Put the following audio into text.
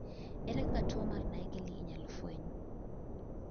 ere kaka tuo mar naegeli inyalo fweny